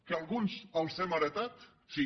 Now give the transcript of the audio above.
que alguns els hem heretat sí